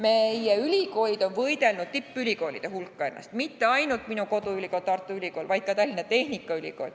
Meie ülikoolid on võidelnud ennast tippülikoolide hulka – mitte ainult minu koduülikool Tartu Ülikool, vaid ka Tallinna Tehnikaülikool.